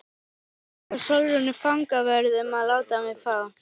Ég bað líka Sólrúnu fangavörð um að láta mig fá